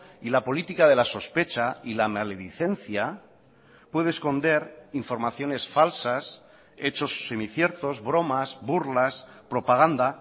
y la política de la sospecha y la maledicencia puede esconder informaciones falsas hechos semiciertos bromas burlas propaganda